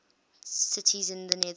cities in the netherlands